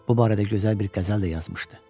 Bu barədə gözəl bir qəzəl də yazmışdı.